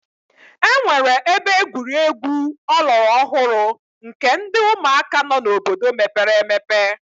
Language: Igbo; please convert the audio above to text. E nwere ebe egwuregwu ọlọrọ ọhụrụ nke ndị ụmụaka nọ n'obodo mepere emepe.